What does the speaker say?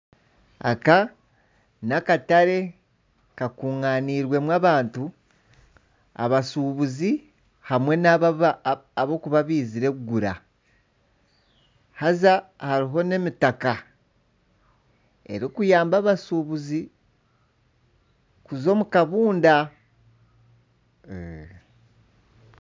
Aka n'akatare karundaaniirwemu abantu. Abashuubuzi hamwe n'abo abarikuba baizire kugura. Haza hariho n'emitaka erikuyamba abashuubuzi kuza omu kabunda.